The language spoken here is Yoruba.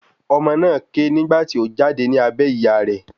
Ọmọ náà ké nígbà tí o jáde ní abẹ́ ìyá rẹ̀